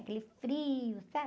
Aquele frio, sabe?